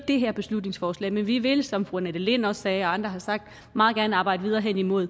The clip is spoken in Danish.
det her beslutningsforslag men vi vil som fru annette lind også sagde andre har sagt meget gerne arbejde videre hen imod